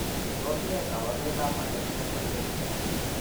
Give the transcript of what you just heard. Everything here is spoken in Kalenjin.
Tos achon kabarunaik ab Anonychia congenita ?